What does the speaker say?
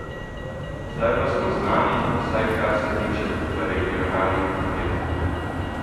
Zdaj pa smo znani, vsaj kar se tiče v regionalnih okvirov.